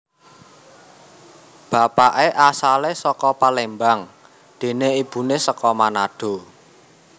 Bapaké asalé saka Palembang déné ibuné saka Manado